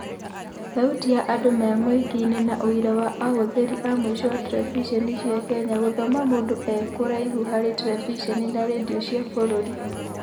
Thauti ya andũ memuingĩinĩ na ũira wa ahũthĩri a mũico a Terebicenicia Kenya na Gũthoma mũndũ e kũraihu harĩ Terebiceni na rendio cia bũrũri.